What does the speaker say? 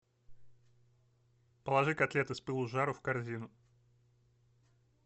положи котлеты с пылу с жару в корзину